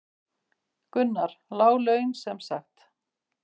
Gunnar: Lág laun sem sagt?